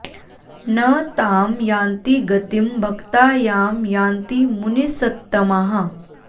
न तां यान्ति गतिं भक्ता यां यान्ति मुनिसत्तमाः